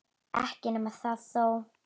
Ekki nema það þó!